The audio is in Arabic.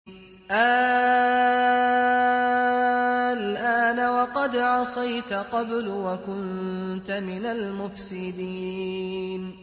آلْآنَ وَقَدْ عَصَيْتَ قَبْلُ وَكُنتَ مِنَ الْمُفْسِدِينَ